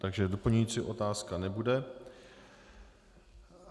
Takže doplňující otázka nebude.